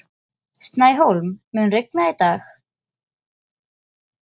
Snæhólm, mun rigna í dag?